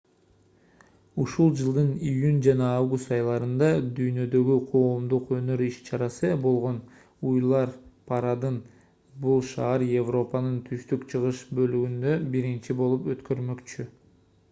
ушул жылдын июнь жана август айларында дүйнөдөгү коомдук өнөр иш-чарасы болгон уйлар парадын бул шаар европанын түштүк-чыгыш бөлүгүндө биринчи болуп өткөрмөкчү